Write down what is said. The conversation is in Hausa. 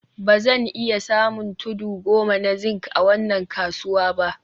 Ba zan iya samun tudu goma na zinc a wannan kasuwa ba